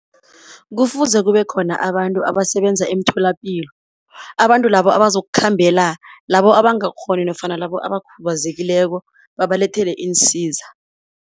Kufuze kube khona abantu abasebenza emtholapilo. Abantu labo abazokukhambela labo abangakghoni nofana labo abakhubazekileko babalethele iinsiza.